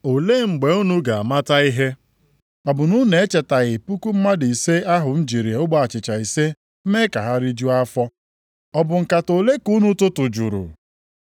Olee mgbe unu ga-amata ihe? Ọ bụ na unu echetaghị puku mmadụ ise ahụ m jiri ogbe achịcha ise mee ka ha rijuo afọ? Ọ bụ nkata ole ka unu tụtụjuru?